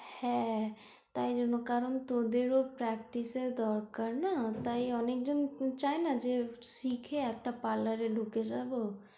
হ্যাঁ তাইজন্য কারন তোদের ও practise এর দরকার না, তাই অনেকজন চায়না যে শিখে একটা parlour এ ঢুকে যাবো।